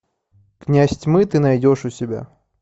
князь тьмы ты найдешь у себя